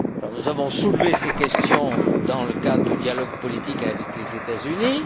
Nous avons soulevé ces questions dans le cadre du dialogue politique avec les États Unis.